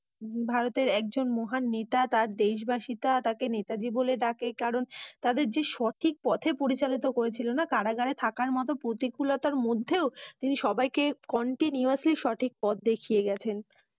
ভারতের একজন মহান নেতা। তার দেশবাসী তাকে নেতাজী বলে ডাকে। কারণ, তাদেরকে সঠিক পথে পরিচালিত করেছিল। কারাগারে থাকার প্রতিকূলতার মধ্যেও তিনি সবাইকে Continuously সঠিক পথ দেখিয়েছেন।